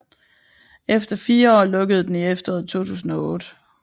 Efter 4 år lukkede den i efteråret 2008